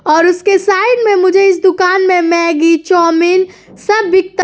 और उसके साइड में मुझे इस दुकान में मैगी चाउमीन सब बिकता --